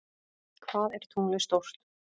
Hvað er tunglið stórt?